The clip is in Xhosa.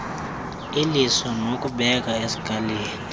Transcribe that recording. iliso nokubeka eskalini